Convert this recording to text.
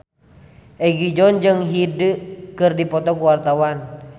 Egi John jeung Hyde keur dipoto ku wartawan